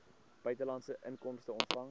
buitelandse inkomste ontvang